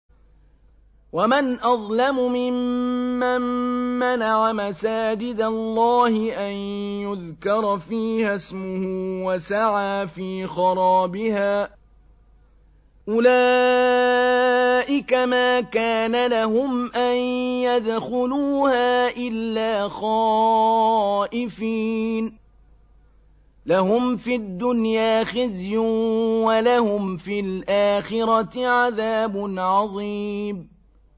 وَمَنْ أَظْلَمُ مِمَّن مَّنَعَ مَسَاجِدَ اللَّهِ أَن يُذْكَرَ فِيهَا اسْمُهُ وَسَعَىٰ فِي خَرَابِهَا ۚ أُولَٰئِكَ مَا كَانَ لَهُمْ أَن يَدْخُلُوهَا إِلَّا خَائِفِينَ ۚ لَهُمْ فِي الدُّنْيَا خِزْيٌ وَلَهُمْ فِي الْآخِرَةِ عَذَابٌ عَظِيمٌ